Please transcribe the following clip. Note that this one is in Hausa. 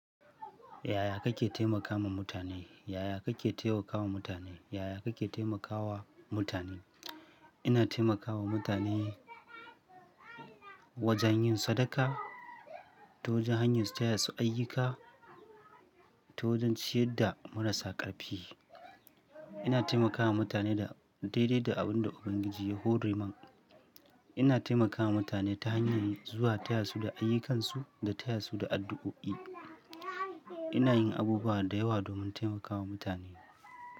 Yaya kake taimakawa mutane? Yaya kake taimakawa mutane? Yaya kake taimakawa mutane? Ina taimakawa mutane wajen yin sadaka, ta wajen hanyar taya su ayyuka, ta wajen ciyar da marasa ƙarfi. Ina taimakawa mutane da daidai da abin da Ubangiji ya horoniman. Ina taimakawa mutane ta hanyar zuwa taya su da ayyukansu da taya su da addu'o'i. Ina yin abubuwa da yawa domin taimakawa mutane.